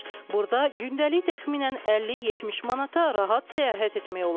Burda gündəlik təxminən 50-70 manata rahat səyahət etmək olar.